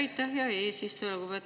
Aitäh, hea eesistuja!